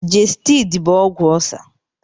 Gestidi bụ ọgwụ ọlcer.